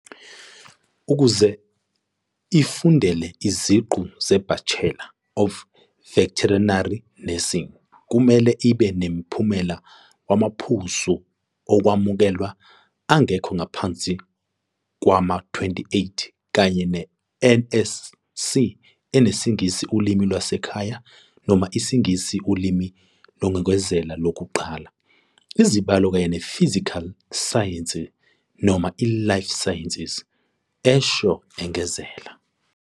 "Ukuze ifundele iziqu ze-Bachelor of Veterinary Nursing, kumele ibe noMphumela wamaPhuzu Okwamukelwa angekho ngaphansi kwama28 kanye ne-NSC eneSingisi Ulimi Lwasekhaya noma IsiNgisi Ulimi Lokwengezela Lokuqala, izibalo, kanye ne-physical science noma i-life sciences," esho engezela.